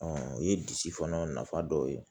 o ye disi fana nafa dɔ ye